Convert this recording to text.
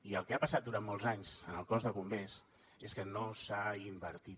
i el que ha passat durant molts anys en el cos de bombers és que no s’ha invertit